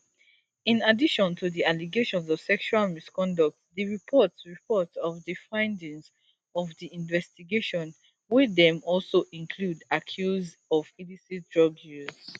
in addition to di allegations of sexual misconduct di report report of di findings of di investigation wey dem also include accuse of illicit drug use